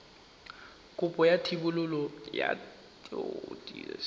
kopo ya thebolo ya poo